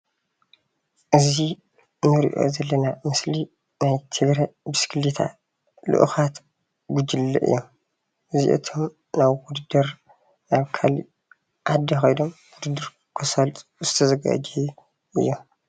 እዚ እንሪኦ ዘለና ምስሊ ናይ ትግራይ ብሽክሌታ ልኡካት ጉጅለ እዮም፡፡ እዚኣቶም ናብ ውድድር ናብ ካሊእ ዓዲ ከይዶም ውድድር ከሳልጡ ዝተዘጋጀው እዮም፡፡